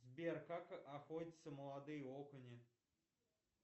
сбер как охотятся молодые окуни